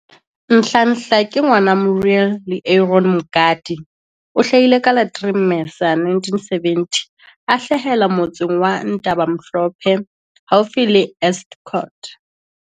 Nhlanhla ke ngwana wa Muriel le Aron Mngadi. O hlahile ka la 3 Mmesa 1970 a hlahela Motsaneng wa Ntabamhlophe haufi le Estcourt.